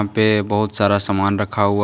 पे बहोत सारा सामान रखा हुआ--